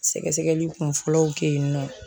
Sɛgɛsɛgɛli kun fɔlɔw kɛ yennɔ.